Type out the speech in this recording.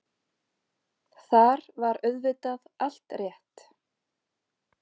Þar var auðvitað allt rétt.